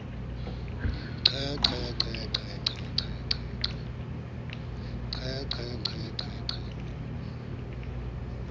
qhe qhe qhe qhe qhe